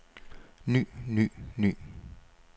ny ny ny